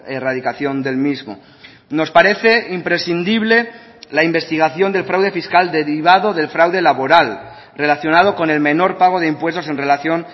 erradicación del mismo nos parece imprescindible la investigación del fraude fiscal derivado del fraude laboral relacionado con el menor pago de impuestos en relación